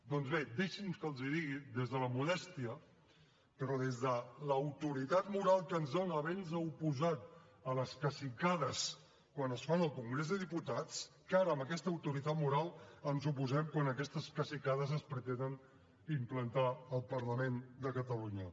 doncs bé deixin me que els digui des de la modèstia però des de l’autoritat moral que ens dona haver nos oposat a les cacicades quan es fan al congrés dels diputats que ara amb aquesta autoritat moral ens hi oposem quan aquestes cacicades es pretenen implantar al parlament de catalunya